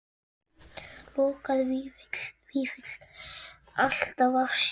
Lokaði Vífill alltaf að sér?